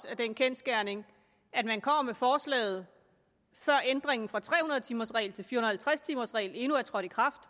af den kendsgerning at man kommer med forslaget før ændringen fra tre hundrede timers regel til fire hundrede og halvtreds timers regel endnu er trådt i kraft